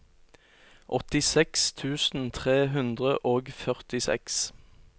åttiseks tusen tre hundre og førtiseks